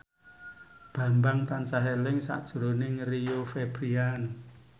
Bambang tansah eling sakjroning Rio Febrian